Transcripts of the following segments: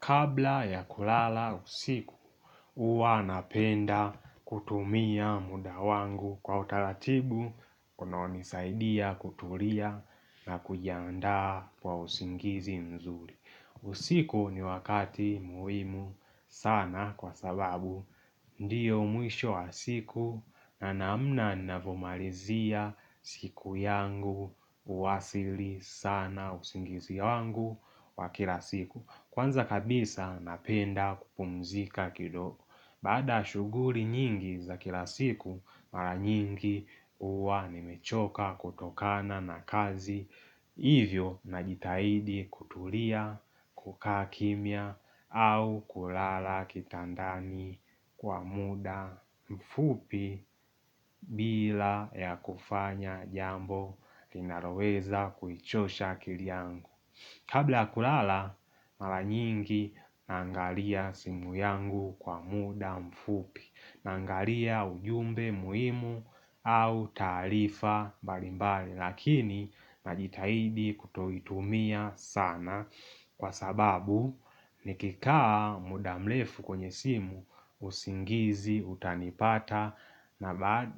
Kabla ya kulala usiku, huwa napenda kutumia muda wangu kwa utaratibu, kunaonisaidia kutulia na kujandaa kwa usingizi mzuri. Usiku ni wakati muhimu sana kwa sababu ndiyo mwisho wa siku na namna navumalizia siku yangu uwasili sana usingizi wangu wa kila siku. Kwanza kabisa napenda kupumzika kidogo. Baada shuguli nyingi za kila siku, mara nyingi huwa nimechoka kutokana na kazi Hivyo na jitahidi kutulia, kukaa kimia au kulala kitandani kwa muda mfupi bila ya kufanya jambo linaloweza kuichosha akili yangu Kabla kulala, mara nyingi nangalia simu yangu kwa muda mfupi, nangalia ujumbe muhimu au tarifa mbalimbali, lakini najitahidi kutuitumia sana kwa sababu nikikaa muda mrefu kwenye simu, usingizi utanipata,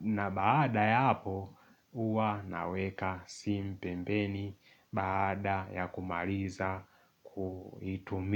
na baada ya hapo huwa naweka simu pembeni baada ya kumaliza kuitumi.